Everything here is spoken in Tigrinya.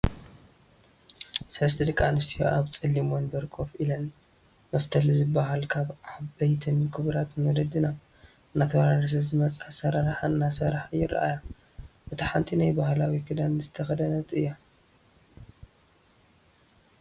ሰለስተ ደቂ ኣንስትዮ ኣብ ፀሊም ወንበር ከፍ ኢለን መፍተል ዝብፋል ካብ ዓበይትን ክቡራትን ወለድና እናተወራረሰ ዝመፀ ኣሰራርሓ እናሰርሓ ይርኣያ። እታ ሓንቲ ናይ ባህላዊ ክዳን ዝተከደነት እያ።